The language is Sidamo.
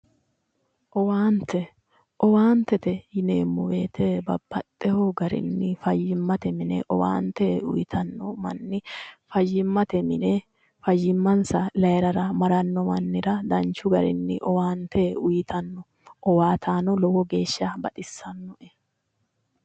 Owaante, owaantete yineemmo woyte babbaxxewo garinni fayyimmate mine uytanno manni fayyimmate mine fayyimmansa layirara maranno mannira danchu garinni owaante uytanno owaataano lowo geeshsha baxissannoe